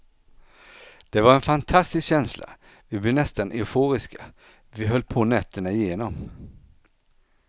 Det var en fantastisk känsla, vi blev nästan euforiska, vi höll på nätterna igenom.